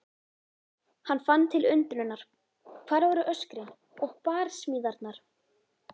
Hann fann til undrunar- hvar voru öskrin og barsmíðarnar?